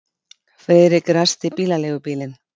Friðrik ræsti bílaleigubílinn.